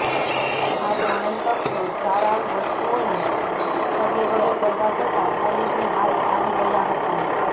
આ ત્રણેય શખ્સો ચારાઉ વસ્તુઓને સગેવગે કરવા જતા પોલીસને હાથ આવી ગયા હતા